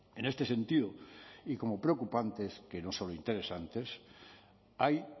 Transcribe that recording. en este sentido y como preocupantes que no solo interesantes hay